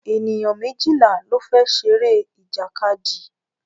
Ènìyàn méjìlá ló fẹ́ ṣeré ìjàkadì